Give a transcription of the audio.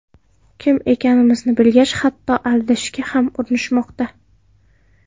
Kim ekanimizni bilgach, hatto aldashga ham urinishmoqda.